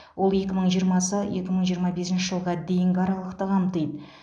ол екі мың жиырмасы екі мың жиырма бесінші жылға дейінгі аралықты қамтиды